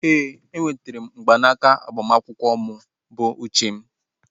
Ee, e nwetere m mgbanaka agbamakwụkwọ mụ bụ n'uche